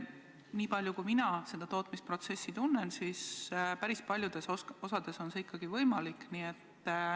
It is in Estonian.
Nii palju kui mina seda tootmisprotsessi tunnen, päris paljudes osades on see ikkagi võimalik.